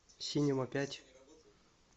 синема пять